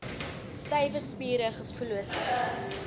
stywe spiere gevoelloosheid